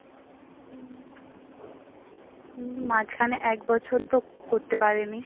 খানে এক বছর তো করতে পারেনি।